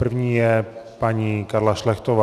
První je paní Karla Šlechtová.